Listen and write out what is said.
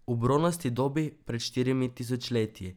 V bronasti dobi, pred štirimi tisočletji.